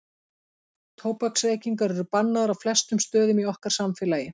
Tóbaksreykingar eru bannaðar á flestum stöðum í okkar samfélagi.